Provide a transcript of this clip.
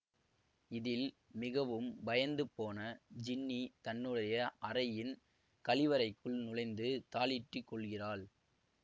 இதில் மிகவும் பயந்து போன ஜின்னி தன்னுடைய அறையின் கழிவறைக்குள் நுழைந்து தாளிட்டு கொள்கிறாள்